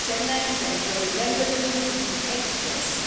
Chennai central Bengaluru city express